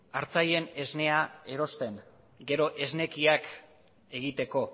artzainen esnea erosten gero esnekiak egiteko